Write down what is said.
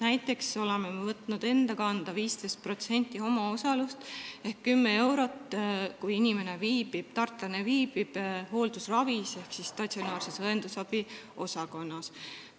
Näiteks oleme võtnud enda kanda 15% omaosalusest ehk 10 eurot, kui tartlane viibib hooldusravil ehk statsionaarses õendusabiosakonnas.